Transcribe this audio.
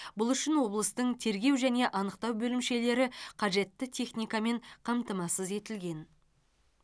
бұл үшін облыстың тергеу және анықтау бөлімшелері қажетті техникамен қамтамасыз етілген